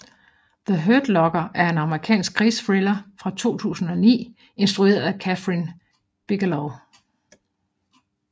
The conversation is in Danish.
The Hurt Locker er en amerikansk krigsthriller fra 2009 instrueret af Kathryn Bigelow